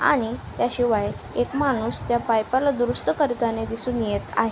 आणि त्याशिवाय एक माणूस त्या पाईपा ला दुरुस्त करताना दिसून येत आहेत.